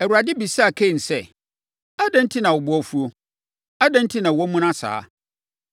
Awurade bisaa Kain sɛ, “Adɛn enti na wo bo afuo? Adɛn enti na woamuna saa?